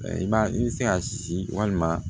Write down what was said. I b'a i bɛ se ka si walima